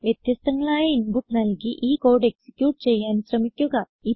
വ്യത്യസ്തങ്ങളായ ഇൻപുട്ട് നല്കി ഈ കോഡ് എക്സിക്യൂട്ട് ചെയ്യാൻ ശ്രമിക്കുക